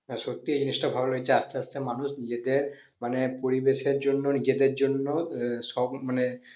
সত্যি এই জিনিষটা ভালো লাগছে আস্তে আস্তে মানুষ নিজেদের মানে পরিবেশ এর জন্য নিজেদের জন্য আহ সব মানে